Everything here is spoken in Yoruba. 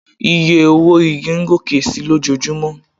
Oye owó igi ń gòkè si lójojúmọ́.